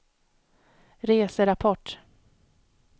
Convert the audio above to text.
reserapport